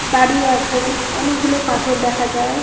দাঁড়িয়ে আছে অনেক গুলো পাথর দেখা যাই ।